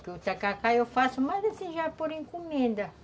Porque o tacacá eu faço, mas, assim, já por encomenda.